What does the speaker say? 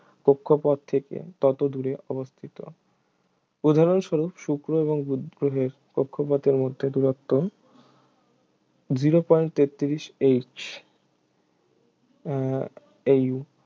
কক্ষপথ থেকে তত দূরে অবস্থিত উদাহরণস্বরুপ শুক্র এবং বুধ গ্রহের কক্ষপথের মমধ্যে দূরত্ব zero point তেতত্রিশ H আহ AU